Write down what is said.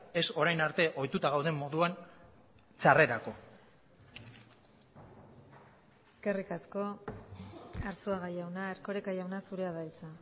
ez orain arte ohituta gauden moduan txarrerako eskerrik asko arzuaga jauna erkoreka jauna zurea da hitza